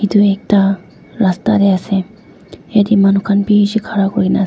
itu ekta rasta tey ase yati manu khan bishi khara kurikena ase.